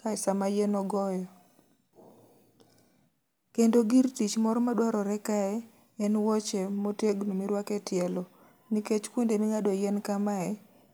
kae sama yien ogoyo. Kendo gir tich moro ma dwarore kae, en wuoche motegno mirwake tielo. Nikech kuonde ming'ade yien ka mae,